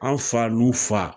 An' fa n'u fa